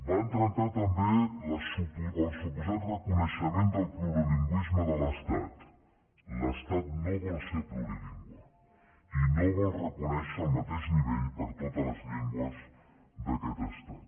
van trencar també el suposat reconeixement del plurilingüisme de l’estat l’estat no vol ser plurilingüe i no vol reconèixer el mateix nivell per a totes les llengües d’aquest estat